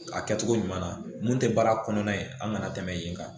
A kɛcogo ɲuman na mun tɛ baara kɔnɔna ye an kana tɛmɛ yen kan